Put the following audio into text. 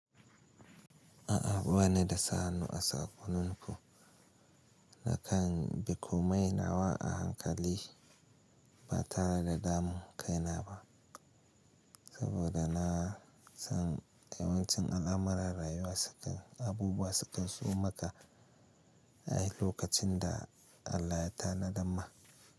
A'a bani da sa hannu a sakoninku na kan bikomai nawa a hankali ba tare da damun kaina ba, saboda na san yawancin al'amuran rayuwa sukan abubuwa sukan zo maka a lokacin da Allah ya tanada ma.